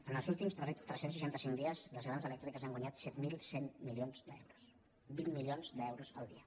en els últims tres cents i seixanta cinc dies les grans elèctriques han guanyat set mil cent milions d’euros vint milions d’euros el dia